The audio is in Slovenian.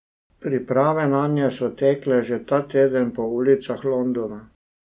Priprave nanje so tekle že ta teden po ulicah Londona.